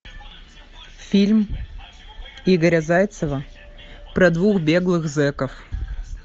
фильм игоря зайцева про двух беглых зеков